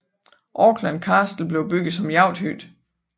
Auckland Castle blev bygget som jagthytte